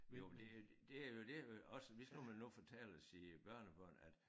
Jo men det det er jo det at også hvis nu man nu fortæller sine børnebørn at